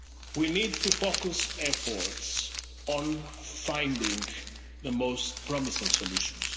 We need to focus efforts on finding the most promising